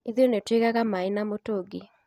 Ithuĩ nĩ tuigaga maĩ na mĩtungi